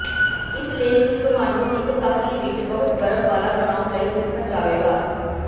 ਇਸ ਲੇਖ ਵਿਚ ਤੁਹਾਨੂੰ ਇੱਕ ਕਾਹਲੀ ਵਿੱਚ ਬਹੁਤ ਗਰਮ ਵਾਲਾ ਬਣਾਉਣ ਲਈ ਸਿੱਖਣ ਜਾਵੇਗਾ